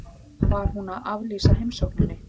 Var hún að aflýsa heimsókninni?